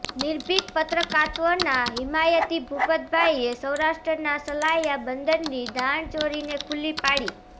નિર્ભિક પત્રકાત્વના હિમાયતી ભુપતભાઇએ સૌરાષ્ટ્રના સલાયા બંદરની દાણચોરીને ખુલ્લી પાડી